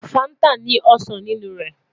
Fanta ni osan ninu rẹ